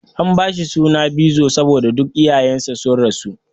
An bashi suna Bizo saboda duk iyayen sa sun rasu.